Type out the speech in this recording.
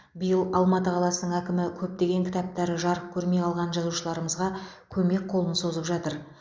биыл алматы қаласының әкімі көптеген кітаптары жарық көрмей қалған жазушыларымызға көмек қолын созып жатыр